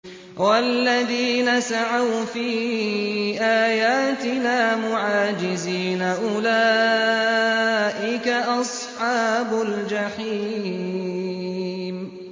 وَالَّذِينَ سَعَوْا فِي آيَاتِنَا مُعَاجِزِينَ أُولَٰئِكَ أَصْحَابُ الْجَحِيمِ